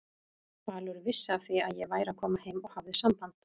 Valur vissi af því að ég væri að koma heim og hafði samband.